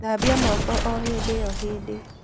Thabia moko o hĩndĩo hĩndĩ.